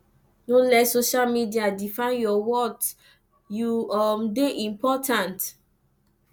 no let social media define your worth you um dey important